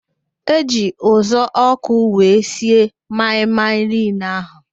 Eji uzuọkụ wee sie maị-maị niile ahụ